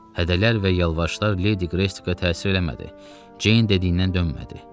Hədə-qorxular və yalvarışlar Ledi Qreystə təsir eləmədi, Ceyn dediymdən dönmədi.